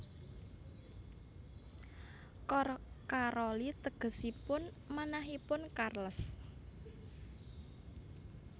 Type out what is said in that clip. Cor Caroli tegesipun manahipun Charles